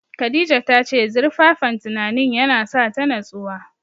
Khadija ta ce zurfaffen tunanin ya na sa ta natsuwa